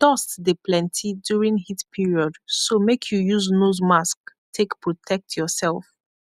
dust dey plenty during heat period so make you use nose mask take protect yourself